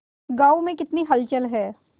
गांव में कितनी हलचल है